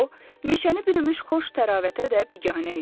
O, meşəni bürümüş xoş təravətə də biganə idi.